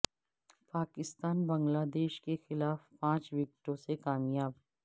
Pakistan Bangladesh کے خلاف پانچ وکٹوں سے کامیاب